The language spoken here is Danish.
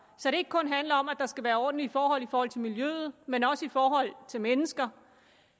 så det ikke kun handler om at der skal være ordentlige forhold i forhold til miljøet men også i forhold til mennesker